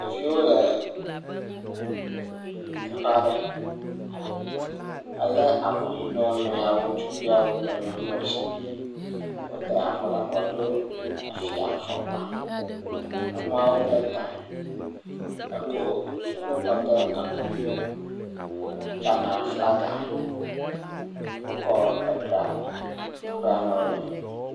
Ɖeviwo le teƒe aɖe hele alɔ na wo nɔewo ŋutsuviawo kple nyɔnuviawo sia. Wode avɔ ɖe abɔ do efiafɔkpa. Nyɔnuawo ble ta eko dzonu kɔ de ekɔ. Ghanafaga wokɔ edra teƒe ya ne wo le.